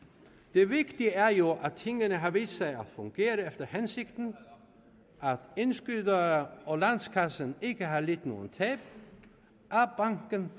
det vigtige er jo at tingene har vist sig at fungere efter hensigten at indskydere og landskassen ikke har lidt nogen tab at banken